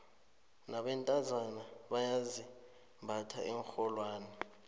nabentazana bayazimbatha iinrholwane